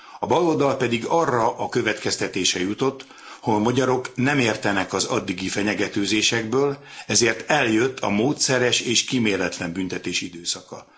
A baloldal pedig arra a következtetésre jutott, hogy a magyarok nem értenek az addigi fenyegetőzésekből, ezért eljött a módszeres és kíméletlen büntetés időszaka.